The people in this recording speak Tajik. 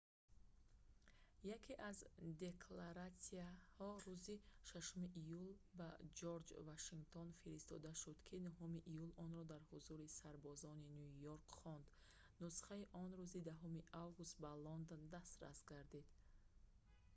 яке аз декларатсияҳо рӯзи 6 июл ба ҷорҷ вашингтон фиристода шуд ки 9 июл онро дар ҳузури сарбозони ню йорк хонд нусхаи он рӯзи 10 август ба лондон дастрас гардид